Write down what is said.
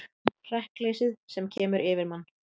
Hrekkleysið sem kemur yfir mann.